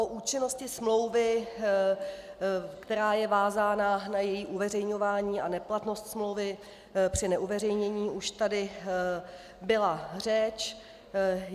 O účinnosti smlouvy, která je vázána na její uveřejňování a neplatnost smlouvy při neuveřejnění už tady byla řeč.